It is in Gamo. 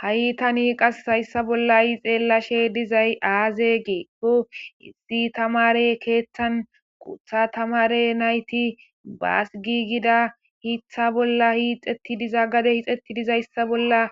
ha7i tani qas hayssa bolla i xeellashe dizay aaze geekko issi tamare keeththan qutha tamare nayti baasgigida hitha bolla hiixetti diza gade hixetti dizayssa bolla